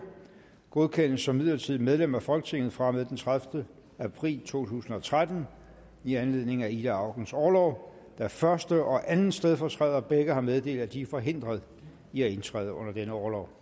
godkendes som midlertidigt medlem af folketinget fra og med den tredivete april to tusind og tretten i anledning af ida aukens orlov da første og anden stedfortræder begge har meddelt at de er forhindret i at indtræde under denne orlov